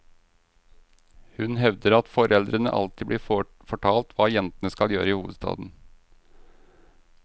Hun hevder at foreldrene alltid blir fortalt hva jentene skal gjøre i hovedstaden.